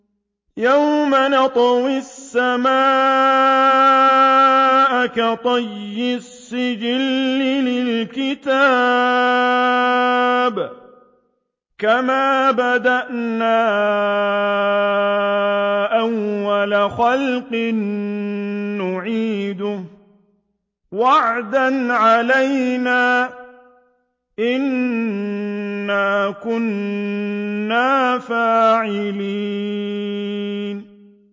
يَوْمَ نَطْوِي السَّمَاءَ كَطَيِّ السِّجِلِّ لِلْكُتُبِ ۚ كَمَا بَدَأْنَا أَوَّلَ خَلْقٍ نُّعِيدُهُ ۚ وَعْدًا عَلَيْنَا ۚ إِنَّا كُنَّا فَاعِلِينَ